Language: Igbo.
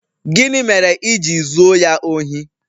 Gịnị mere i ji zuo ya ohi?